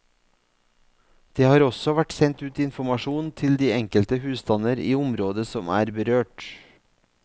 Det har også vært sendt ut informasjon til de enkelte husstander i området som er berørt.